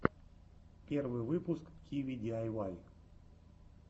первый выпуск киви диайвай